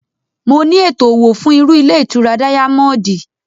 Mo ní ètò òwò fún irú ilé ìtura díámọ́ọ́dì